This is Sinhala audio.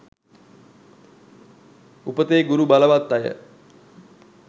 උපතේ ගුරු බලවත් අය